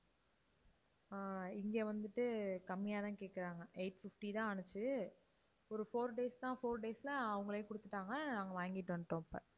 ஆஹ் இங்க வந்துட்டு கம்மியா தான் கேட்குறாங்க eight fifty தான் ஆச்சு. ஒரு four days தான், four days ல அவங்களே கொடுத்துட்டாங்க. நாங்க வாங்கிட்டு வந்துட்டோம் அப்ப.